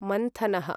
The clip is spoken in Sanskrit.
मन्थनः